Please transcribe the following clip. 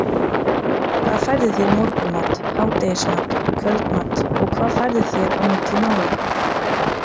hvað færðu þér í morgunmat, hádegismat og kvöldmat og hvað færðu þér á milli mála?